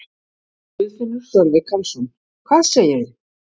Guðfinnur Sölvi Karlsson: Hvað segirðu?